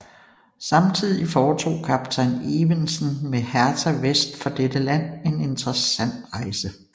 Samtidig foretog kaptajn Evensen med Hertha vest for dette land en interessant rejse